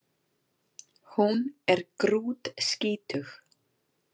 Hún er grútskítug